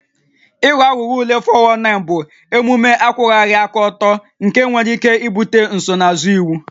Ịghọ aghụghọ ule (419) bụ omume akwụwaghị aka ọtọ nke nwere ike ibute nsonaazụ iwu